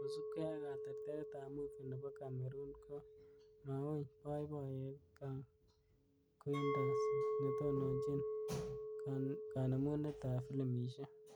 Kosubkei ak kerterteret ab movi nebo Cameroon, ko mauny boiboiyet Kang Quintus netononjin kanemunet ab filimishek .